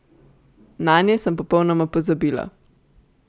Nanje sem popolnoma pozabila.